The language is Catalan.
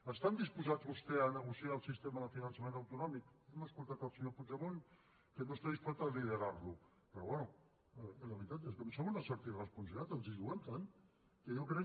estan disposats vostès a negociar el sistema de finançament autonòmic hem escoltat el senyor puigdemont que no està disposat a liderar lo però bé la veritat és que em sembla d’una certa irresponsabilitat perquè ens hi juguem tant que jo crec